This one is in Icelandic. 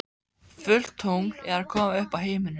Fullt tungl er að koma upp á himininn.